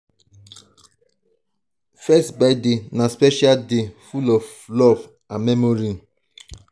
first birthday na special day full of love and memories.